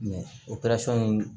o in